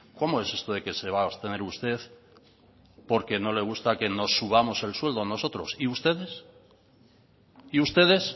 cómo es esto de que se va a abstener usted porque no le gusta que nos subamos el sueldo nosotros y ustedes y ustedes